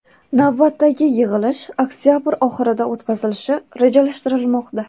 Navbatdagi yig‘ilish oktabr oxirida o‘tkazilishi rejalashtirilmoqda.